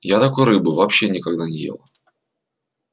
я такой рыбы вообще никогда не ел